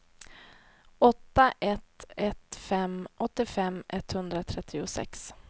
åtta ett ett fem åttiofem etthundratrettiosex